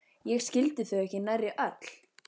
Ég skildi þau ekki nærri öll.